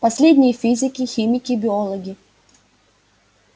последние физики химики биологи